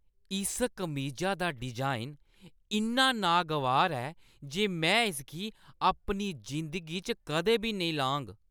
इस कमीजा दा डिजाइन इन्ना नागवार ऐ जे में इसगी अपनी जिंदगी च कदें नेईं लाङ।